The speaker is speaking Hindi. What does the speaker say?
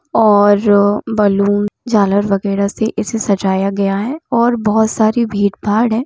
और बलून झालर वगैरा से इसे सजाया गया है और बहुत सारी भीड़-भाड़ है।